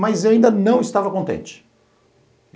Mas eu ainda não estava contente.